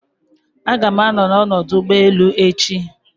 Aga m anọ na ọdụ ụgbọ elu echi